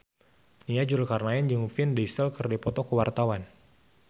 Nia Zulkarnaen jeung Vin Diesel keur dipoto ku wartawan